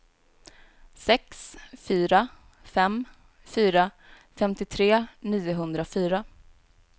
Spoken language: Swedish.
sex fyra fem fyra femtiotre niohundrafyra